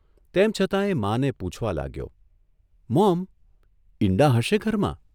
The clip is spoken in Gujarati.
તેમ છતાં એ માને પૂછવા લાગ્યોઃ મોમ, ઇંડા હશે ઘરમાં?